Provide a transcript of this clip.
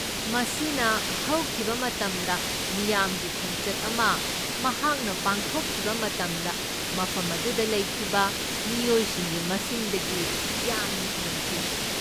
ꯃꯁꯤꯅ ꯍꯧꯈꯤꯕ ꯃꯇꯝꯗ ꯃꯤꯌꯥꯝꯒꯤ ꯈꯣꯡꯆꯠ ꯑꯃ ꯃꯍꯥꯛꯅ ꯄꯥꯡꯊꯣꯛꯈꯤꯕ ꯃꯇꯝꯗ ꯃꯐꯝ ꯑꯗꯨꯗ ꯂꯩꯈꯤꯕ ꯃꯤꯑꯣꯏꯁꯤꯡꯒꯤ ꯃꯁꯤꯡꯗꯒꯤ ꯌꯥꯝꯅ ꯍꯦꯟꯈꯤ꯫